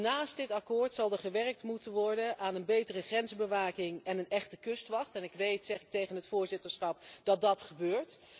Naast dit akkoord zal er dus gewerkt moeten worden aan een betere grensbewaking en een echte kustwacht. Ik weet, en daarmee richt ik mij tot het voorzitterschap, dat dat gebeurt.